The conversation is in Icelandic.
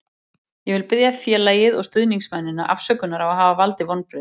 Ég vil biðja félagið og stuðningsmennina afsökunar á að hafa valdið vonbrigðum.